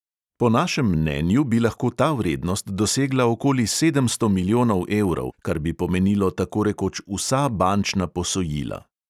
Po našem mnenju bi lahko ta vrednost dosegla okoli sedemsto milijonov evrov, kar bi pomenilo tako rekoč vsa bančna posojila.